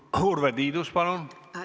Urve Tiidus, palun!